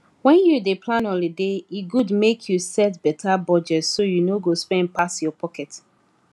when you dey plan holiday e good make you set better budget so you no go spend pass your pocket